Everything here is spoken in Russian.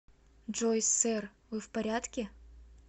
джой сэр вы в порядке